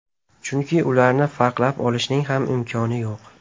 Chunki ularni farqlab olishning ham imkoni yo‘q.